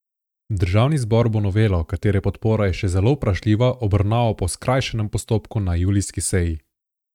Državni zbor bo novelo, katere podpora je še zelo vprašljiva, obravnaval po skrajšanem postopku na julijski seji.